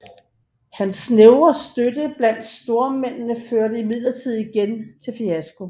Hans snævre støtte blandt stormændene førte imidlertid igen til fiasko